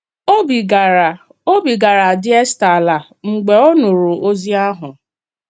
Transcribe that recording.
Óbì gāara Óbì gāara adị Èstà àlà mgbe ọ nụrụ ozi ahụ.